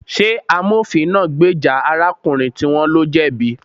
Ṣé amofin náà gbèjà arákùnrin tí wón lo jẹ̀bi